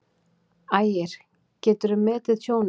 Ægir: Geturðu metið tjónið?